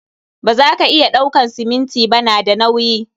Ba za ka iya ɗauakan siminti ba, na da nauyi.